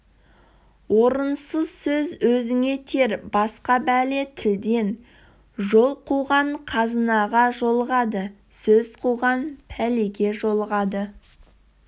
орынсыз сөз өзіңе тиер басқа бәле тілден жол қуған қазынаға жолығады сөз қуған пәлеге жолығады